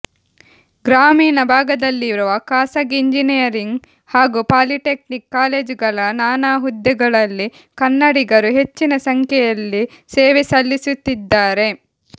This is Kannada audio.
ಗ್ರಾಮೀಣ ಭಾಗದಲ್ಲಿರುವ ಖಾಸಗಿ ಎಂಜಿನಿಯರಿಂಗ್ ಹಾಗೂ ಪಾಲಿಟೆಕ್ನಿಕ್ ಕಾಲೇಜುಗಳ ನಾನಾ ಹುದ್ದೆಗಳಲ್ಲಿ ಕನ್ನಡಿಗರು ಹೆಚ್ಚಿನ ಸಂಖ್ಯೆಯಲ್ಲಿ ಸೇವೆ ಸಲ್ಲಿಸುತ್ತಿದ್ದಾರೆ